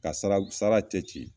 Ka sara, sara cɛci .